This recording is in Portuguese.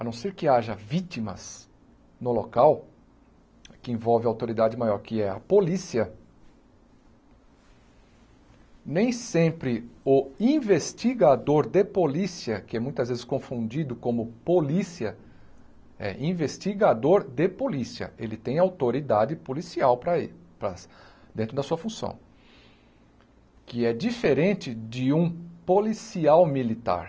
a não ser que haja vítimas no local que envolve a autoridade maior, que é a polícia, nem sempre o investigador de polícia, que é muitas vezes confundido como polícia, é investigador de polícia, ele tem autoridade policial para ele para dentro da sua função, que é diferente de um policial militar.